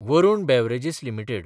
Varun beverages limited